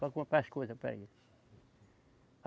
Para comprar as coisas para ele.